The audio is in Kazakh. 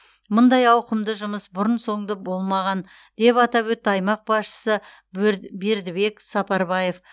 мұндай ауқымды жұмыс бұрын соңды болмаған деп атап өтті аймақ басшысы бер бердібек сапарбаев